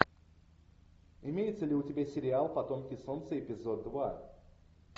имеется ли у тебя сериал потомки солнца эпизод два